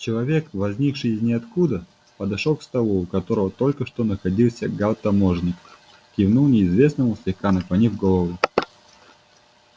человек возникший из ниоткуда подошёл к столу у которого только что находился гаал таможенник кивнул неизвестному слегка наклонив голову